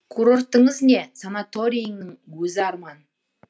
курортыңыз не санатороидің өзі арман